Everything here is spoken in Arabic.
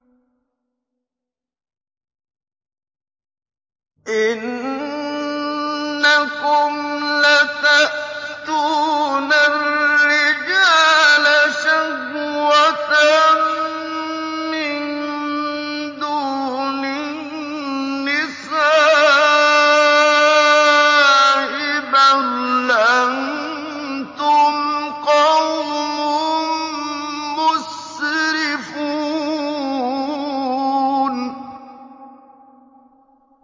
إِنَّكُمْ لَتَأْتُونَ الرِّجَالَ شَهْوَةً مِّن دُونِ النِّسَاءِ ۚ بَلْ أَنتُمْ قَوْمٌ مُّسْرِفُونَ